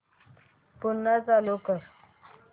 पुन्हा चालू कर